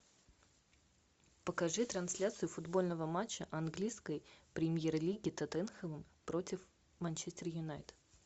покажи трансляцию футбольного матча английской премьер лиги тоттенхэма против манчестер юнайтед